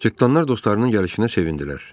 Cırtdanlar dostlarının gəlişinə sevindilər.